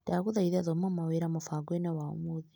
Ndagũthaitha thoma mawĩra mũbango-inĩ wa ũmũthĩ .